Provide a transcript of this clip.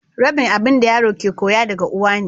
Rabin abin da yaro ke koya daga uwa ne.